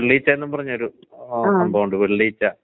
ആ... ആ... മനസിലായി, മനസിലായി.